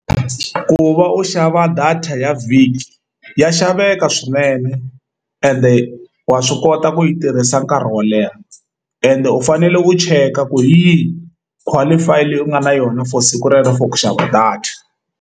Ku va u xava data ya vhiki ya xaveka swinene ende wa swi kota ku yi tirhisa nkarhi wo leha ende u fanele u cheka ku hi yihi qualify leyi u nga na yona for siku rero for ku xava data.